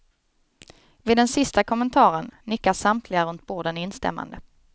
Vid den sista kommentaren, nickar samtliga runt borden instämmande.